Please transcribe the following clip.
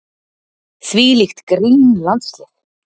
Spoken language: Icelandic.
Þvílíkt grín landslið.